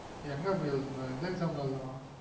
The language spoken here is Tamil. எங்க அபி எழுதனொம் எந்த exam எழுதுனொம்